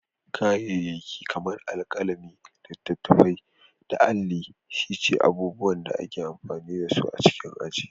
Kayayyaki kamar alkalami, littattafai, da alli shi ce abubuwan da ake amfani da su a cikin aji.